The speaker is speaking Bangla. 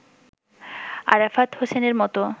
আরাফাত হোসেনের মতো